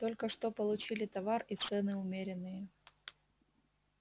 только что получили товар и цены умеренные